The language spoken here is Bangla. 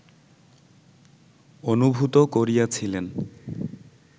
অনুভূত করিয়াছিলেন